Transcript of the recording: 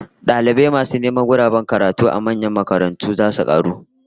Dalibai masu neman guraben karatu a manyan makarantu zai karu